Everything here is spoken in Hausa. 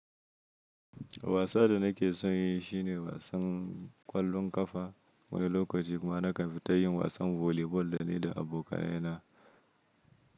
Wasan da nake son yi shi ne wasan ƙwallon ƙafa. Wani lokaci kuma nakan fita yin wasan volleyball da ni da abokanai na.